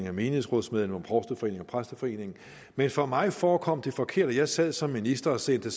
af menighedsrådsmedlemmer provsteforeningen og præsteforeningen men for mig forekom det forkert og jeg sad som minister og sendte